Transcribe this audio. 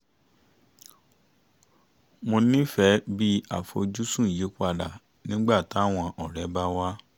mo nífẹ̀ẹ́ bí àfojúsùn yí padà nígbà táwọn ọ̀rẹ́ bá wá